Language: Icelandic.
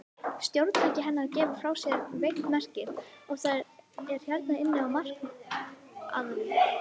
Stjórntæki hennar gefur frá sér veikt merki, og það er hérna inni á markaðnum.